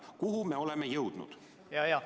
Kuhu me oleme jõudnud?